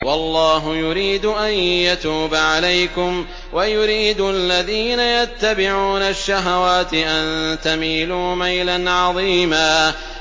وَاللَّهُ يُرِيدُ أَن يَتُوبَ عَلَيْكُمْ وَيُرِيدُ الَّذِينَ يَتَّبِعُونَ الشَّهَوَاتِ أَن تَمِيلُوا مَيْلًا عَظِيمًا